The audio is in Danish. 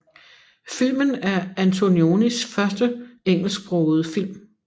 Filmen er Antonionis første engelsksprogede film